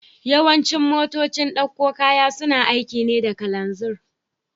Yawancin motocin dakon kaya suna aiki ne da kananzir